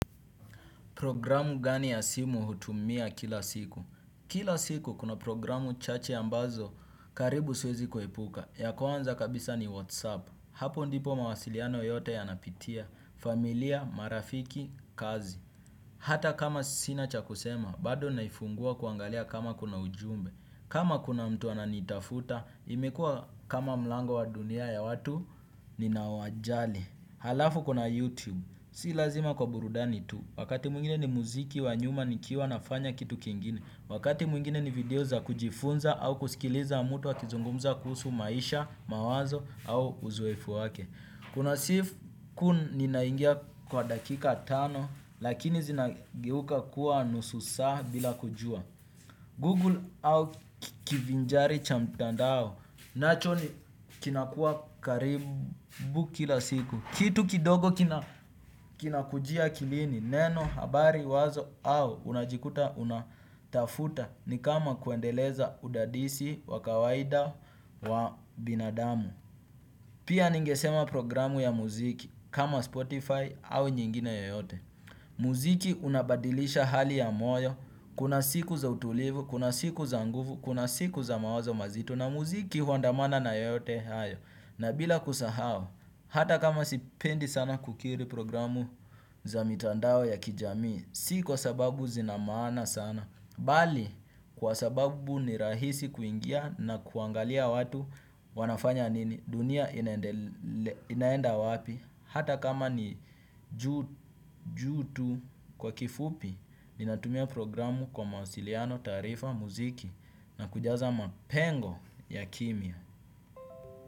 Programu gani ya simu hutumia kila siku? Kila siku kuna programu chache ambazo karibu siwezi kuhepuka. Ya kuanza kabisa ni WhatsApp. Hapo ndipo mawasiliano yote yanapitia. Familia, marafiki, kazi. Hata kama sina cha kusema, bado naifungua kuangalia kama kuna ujumbe. Kama kuna mtu ananitafuta, imekua kama mlango wa dunia ya watu, ninawajali. Halafu kuna YouTube. Si lazima kwa burudani tu. Wakati mwingine ni muziki wa nyuma nikiwa nafanya kitu kingine, wakati mwingine ni video za kujifunza au kusikiliza mtu akizungumza kuhusu maisha, mawazo au uzoefu wake. Kuna siku ninaingia kwa dakika tano lakini zinageuka kuwa nusu saa bila kujua. Google au kivinjari cha mtandao. Nacho ni kinakuwa karibu kila siku. Kitu kidogo kinakujia akilini neno, habari, wazo au unajikuta unatafuta ni kama kuendeleza udadisi, wa kawaida, wa binadamu. Pia ningesema programu ya muziki kama Spotify au nyingine yoyote. Muziki unabadilisha hali ya moyo, kuna siku za utulivu, kuna siku za nguvu, kuna siku za mawazo mazito na muziki huandamana na yote hayo. Na bila kusahau, hata kama sipendi sana kukiri programu za mitandao ya kijamii. Si kwa sababu zinamaana sana. Bali, kwa sababu ni rahisi kuingia na kuangalia watu wanafanya nini dunia inaenda wapi. Hata kama ni juu tu kwa kifupi, ninatumia programu kwa mausiliano, tarifa, muziki. Na kujaza mapengo ya kimya.